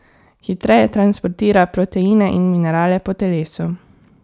Hitreje transportira proteine in minerale po telesu.